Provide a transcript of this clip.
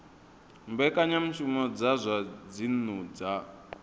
mbekanyamushumo dza zwa dzinnu dza